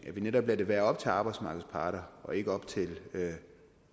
at vi netop lader det være op til arbejdsmarkedets parter og ikke op til